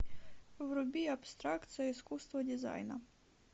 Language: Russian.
вруби абстракция искусство дизайна